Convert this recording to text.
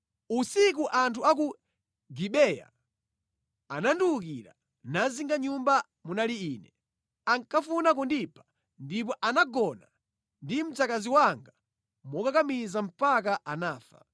Usiku anthu a ku Gibeya anandiwukira, nazinga nyumba munali ine. Ankafuna kundipha ndipo anagona ndi mzikazi wanga momukakamiza mpaka anafa.